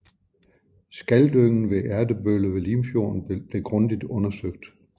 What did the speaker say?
Skaldyngen ved Ertebølle ved Limfjorden blev grundigt undersøgt